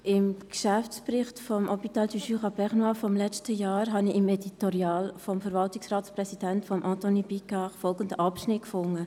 Im Geschäftsbericht des Hôpital du Jura bernois (HJB) des letzten Jahres habe ich im Editorial des Verwaltungsratspräsidenten Anthony Picard folgenden Abschnitt gefunden: